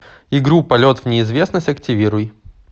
игру полет в неизвестность активируй